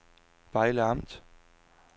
Vejle Amt